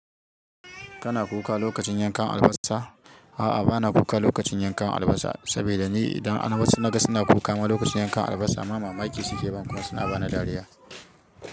Kana kuka lokacin yankan albasa? A'a, ba na kuka lokacin yankan albasa. Saboda ni idan albasa na gani suna kuka lokacin yankan albasa, ni mamaki suke bani, kuma suma ba ni dariya.